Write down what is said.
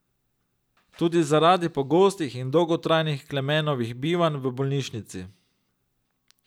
Tudi zaradi pogostih in dolgotrajnih Klemenovih bivanj v bolnišnici.